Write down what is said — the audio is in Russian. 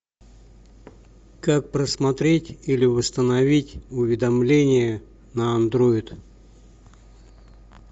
как просмотреть или восстановить уведомление на андроид